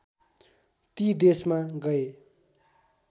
ती देशमा गए